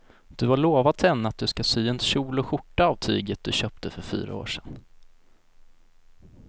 Du har lovat henne att du ska sy en kjol och skjorta av tyget du köpte för fyra år sedan.